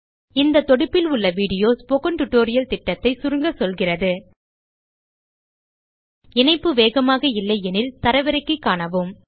இந்த தொடுப்பில் உள்ள வீடியோ ஸ்போக்கன் டியூட்டோரியல் திட்டத்தை சுருங்க சொல்கிறது httpspokentutorialorgWhat is a Spoken Tutorial இணைப்பு வேகமாக இல்லை எனில் தரவிறக்கி காணுங்கள்